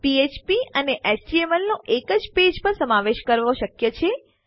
ફ્ફ્પ અને એચટીએમએલ નો એક જ પેજ પર સમાવેશ કરવો શક્ય છે